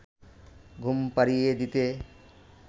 ঘুম পাড়িয়ে দিতে